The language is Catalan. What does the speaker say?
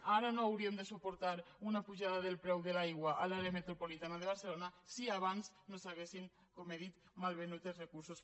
ara no hauríem de suportar una pujada del preu de l’aigua a l’àrea metropolitana de barcelona si abans no s’haguessin com he dit malvenut els recursos